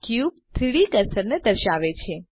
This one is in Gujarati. ક્યુબ 3ડી કર્સરને દર્શાવે છે